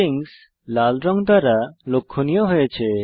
strings লাল রঙ দ্বারা লক্ষনীয় হয়েছে